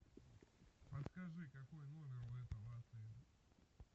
подскажи какой номер у этого отеля